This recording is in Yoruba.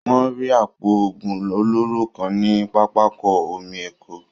Wọ́n rí àpò òògùn olóró kan ní pápákọ omi Èkó